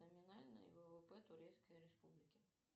номинальный ввп турецкой республики